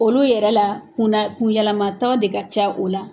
Olu yɛrɛ la kunna kun yɛlɛmataga de ka ca o la.